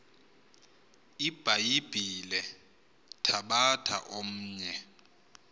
ibhayibhile thabatha omnye